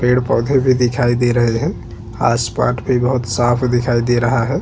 पेड़-पौधे भी दिखाई दे रहे है आसमान भी बहोत ही साफ दिखाई दे रहा है।